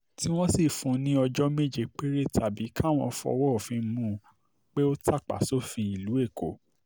tí wọ́n sì fún un ní ọjọ́ méje péré tàbí káwọn fọwọ́ òfin mú-un pé ó tàpá sófin ìlú èkó